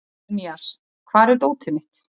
Jeremías, hvar er dótið mitt?